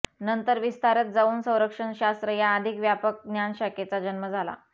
नंतर विस्तारत जाऊन संरक्षणशास्त्र या अधिक व्यापक ज्ञानशाखेचा जन्म झाला